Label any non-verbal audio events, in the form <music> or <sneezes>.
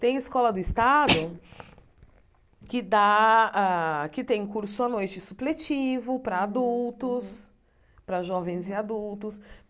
Tem escola do estado <sneezes> que dá a que tem curso à noite supletivo para adultos, para jovens e adultos.